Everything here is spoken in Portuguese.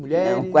Mulheres? Não